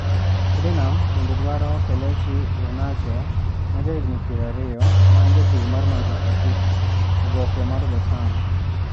Tottenham bende dwaro Kelechi Iheanacho, ma jahigini pier ariyo, ma en jatugo mar Manchester City (oboke mar The Sun).